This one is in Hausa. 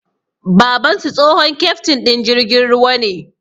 Babansu, tsohon keftin din jirgin ruwa ne